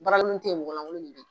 Baara kolon te ye mɔgɔ lakolon de be ye